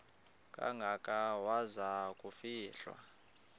kangaka waza kufihlwa